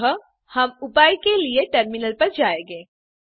अतः हम उपाय के लिए टर्मिनल पर जायेंगे